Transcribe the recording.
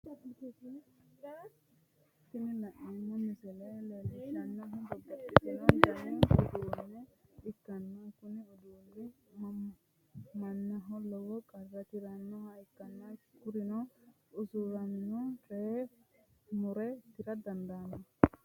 Tini la'neemmo misile leellishshannohu babbaxxitino dani uduunne ikkanna, kuni uduunni mannaho lowo qara tirannoha ikkanna, kuri'uno usiramino coye mure tira dandaanno.